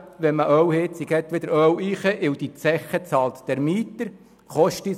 Wenn man eine Ölheizung hat, stellt man wieder eine Ölheizung hinein, weil der Mieter die Zeche bezahlt.